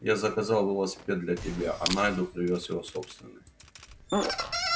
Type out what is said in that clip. я заказал велосипед для тебя а найду привёз его собственный